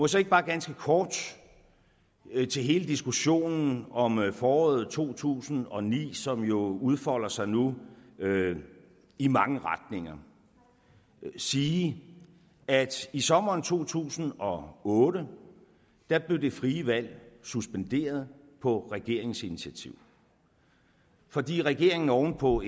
så ikke bare ganske kort til hele diskussionen om foråret to tusind og ni som jo udfolder sig nu i mange retninger sige at i sommeren to tusind og otte blev det frie valg suspenderet på regeringens initiativ fordi regeringen oven på